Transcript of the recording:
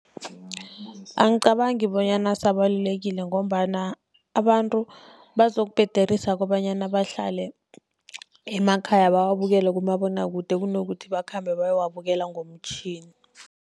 Angicabangi bonyana asabalulekile, ngombana abantu bazokubhederisa kobanyana bahlale emakhaya bawabukele kumabonwakude, kunokuthi bakhambe bayowabukela ngomtjhini.